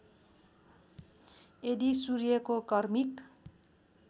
यदि सूर्यको कर्मिक